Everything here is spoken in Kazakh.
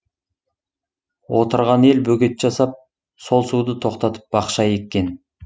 отырған ел бөгет жасап сол суды тоқтатып бақша еккен